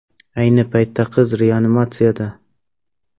Ayni paytda qiz reanimatsiyada.